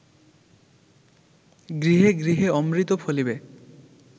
গৃহে গৃহে অমৃত ফলিবে